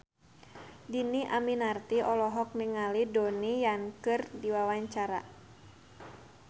Dhini Aminarti olohok ningali Donnie Yan keur diwawancara